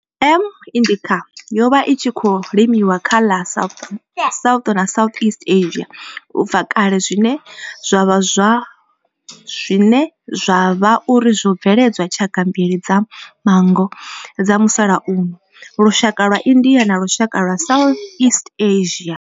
M. indica yo vha i tshi khou limiwa kha ḽa South na Southeast Asia ubva kale zwine zwa vha uri zwo bveledza tshaka mbili dza manngo dza musalauno, lushaka lwa India na lushaka lwa Southeast Asia.